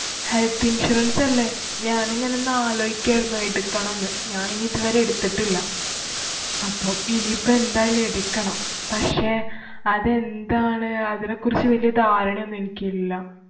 Health Insurance അല്ലേ. ഞാനിങ്ങനെ ന്നാലോയിക്കേരുന്ന് എടുക്കണംന്ന്. ഞാന്‍ ഇനി ഇത് വരെ എടുത്തിട്ടില്ല. അപ്പൊ ഇനി ഇപ്പ എന്തായാലും എടുക്കണം. പക്ഷേ, അതെന്താണ്? അതിനെകുറിച്ച് വല്യ ധാരണ ഒന്നും എനിക്കില്ല.